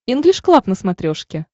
инглиш клаб на смотрешке